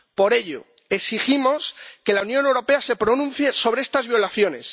Por ello, exigimos que la Unión Europea se pronuncie sobre estas violaciones.